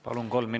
Palun!